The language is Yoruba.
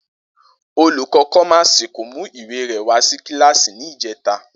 Olùkó̩ kó̩máàsì kò mú ìwé rè̩ wá sí kíláàsì ní ìjé̩ta